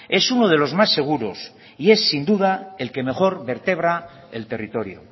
es uno de los más seguros y es sin duda el que mejor vertebra el territorio